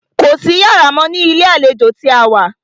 Kò sí iyàrá mọ́ ní ilé àlejò tí a wá.